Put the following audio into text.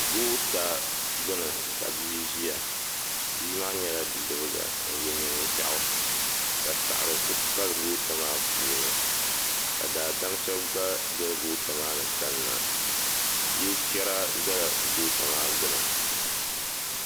goota gbini ka bia ʒia bia maa nyɛla bidibga n ye niɛn'ʒiaɣu ka saɣari kuli pali goota maa puuni ka daadam sheba gba doli goota maani kanna yili chera zala goota maa gbini.